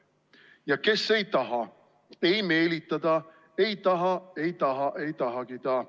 / Ja kes ei taha, ei meelita ta, / ei taha, ei taha, ei tahagi ta!